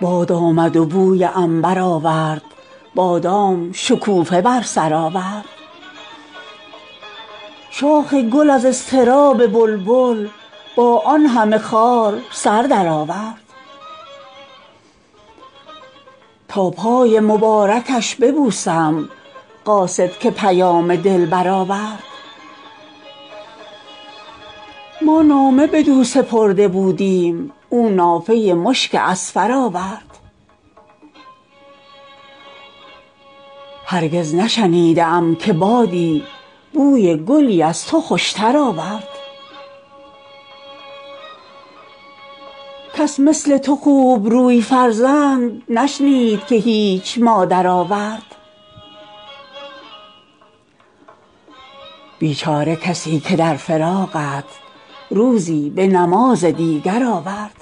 باد آمد و بوی عنبر آورد بادام شکوفه بر سر آورد شاخ گل از اضطراب بلبل با آن همه خار سر درآورد تا پای مبارکش ببوسم قاصد که پیام دلبر آورد ما نامه بدو سپرده بودیم او نافه مشک اذفر آورد هرگز نشنیده ام که بادی بوی گلی از تو خوشتر آورد کس مثل تو خوبروی فرزند نشنید که هیچ مادر آورد بیچاره کسی که در فراقت روزی به نماز دیگر آورد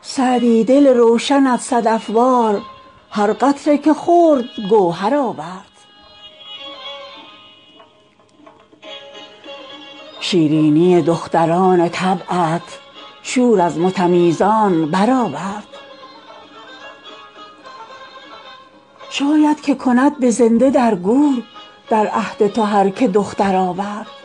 سعدی دل روشنت صدف وار هر قطره که خورد گوهر آورد شیرینی دختران طبعت شور از متمیزان برآورد شاید که کند به زنده در گور در عهد تو هر که دختر آورد